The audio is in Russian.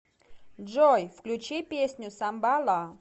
джой включи песню самбала